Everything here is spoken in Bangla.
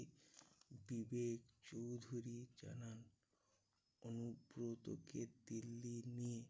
বিবেক চৌধুরী জানান অনুব্রতকে দিল্লি নিয়ে